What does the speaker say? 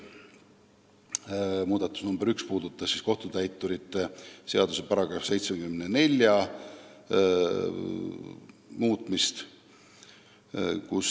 Esimene ettepanek puudutab kohtutäituri seaduse § 74 muutmist.